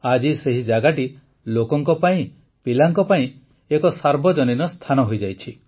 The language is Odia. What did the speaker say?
ଆଜି ସେହି ଜାଗାଟି ଲୋକଙ୍କ ପାଇଁ ପିଲାଙ୍କ ପାଇଁ ଏକ ସାର୍ବଜନୀନ ସ୍ଥାନ ହୋଇଯାଇଛି